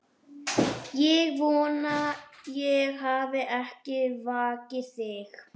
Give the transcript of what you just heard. Ég vona ég hafi ekki vakið þig.